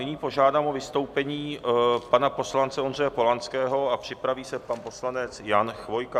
Nyní požádám o vystoupení pana poslance Ondřeje Polanského a připraví se pan poslanec Jan Chvojka.